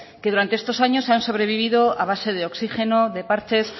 que durante estos años han sobrevivido a base de oxígeno de parches